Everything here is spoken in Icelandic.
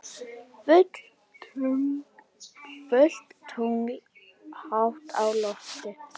Fullt tungl hátt á lofti.